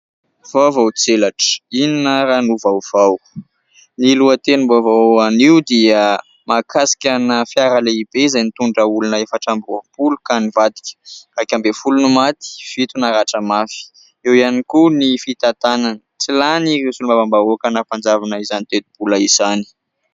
Vaovao tselatra ! Inona ary no vaovao ? Ny lohatenim-baovao anio dia mahakasikana : "fiara lehibe izay nitondra olona efatra amby roapolo ka nivadika : iraika ambin'ny folo no maty, fito naratra mafy" ; eo ihany koa ny fitantanana : "Tsy lany ireo solombavambahoaka nampanjavona izany tetibola izany".